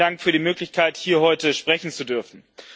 Vielen Dank für die Möglichkeit, hier heute sprechen zu dürfen.